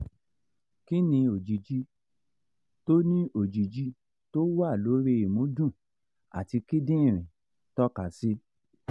kí ni òjìji tó ni òjìji tó wà lórí ìmúdùn àti kidinrin toka si?